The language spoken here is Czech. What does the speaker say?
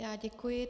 Já děkuji.